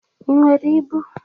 Ị nwere ịbụ?